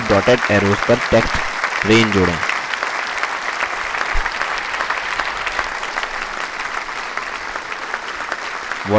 add dotted arrows पर text rain जोड़ें